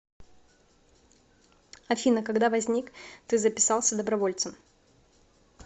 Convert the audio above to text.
афина когда возник ты записался добровольцем